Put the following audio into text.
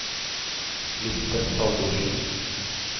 Lisbeth Haldorsen